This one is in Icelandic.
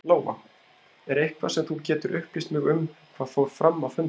Lóa: Er eitthvað sem þú getur upplýst mig um hvað fór fram á fundinum?